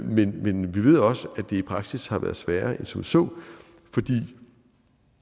men vi ved også at det i praksis har været sværere end som så fordi